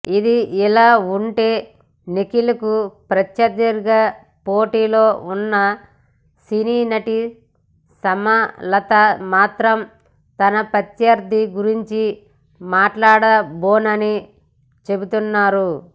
ఇదిలా ఉంటే నిఖిల్కు ప్రత్యర్ధిగా పోటీలో ఉన్న సినీ నటి సుమలత మాత్రం తన ప్రత్యర్ధి గురించి మాట్లాడబోనని చెబుతున్నారు